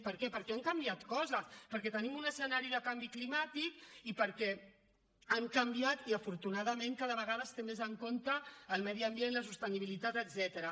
per què perquè han canviat coses perquè tenim un escenari de canvi climàtic i perquè han canviat i afortunadament cada vegada es tenen més en compte el medi ambient la sostenibilitat etcètera